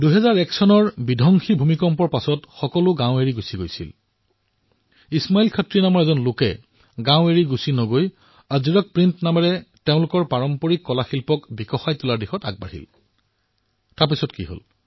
২০০১ চনৰ প্ৰলয়ংকাৰী ভুমিকম্পৰ পিছত সকলো লোকে গাঁও পৰিত্যাগ কৰাৰ মুহূৰ্ততে ইছমাইল খত্ৰী নামৰ এজন ব্যক্তিয়ে গাঁৱতেই থাকি আজৰক প্ৰিণ্টৰ জৰিয়তে নিজৰ পাৰম্পৰিক কলা প্ৰদৰ্শিত কৰাৰ সিদ্ধান্ত গ্ৰহণ কৰিলে